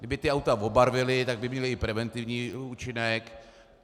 Kdyby ta auta obarvili, tak by měla i preventivní účinek.